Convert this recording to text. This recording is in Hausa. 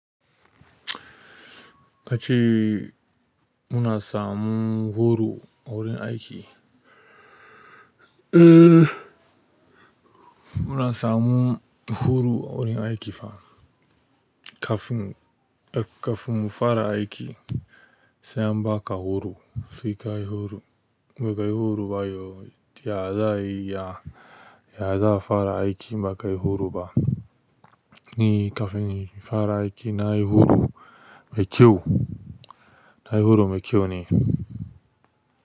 Kace ina samun goro gurin aiki. Eh, muna samu horo wurin aiki fa. Kafin, kafin fara aiki, sai an ba ka horo. Sai kayi horo. Bakayi horo ba yo, ta ya za'ayi ya, ya za a fara aiki ba ka yi horo ba. Ni kafin infara aiki na yi horo mai kyau. Na yi horo mai kyau ne.